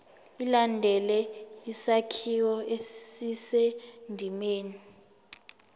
ilandele isakhiwo esisendimeni